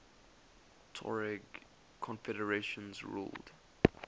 tuareg confederations ruled